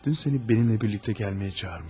Dünən səni mənimlə birlikdə gəlməyə çağırmışdım.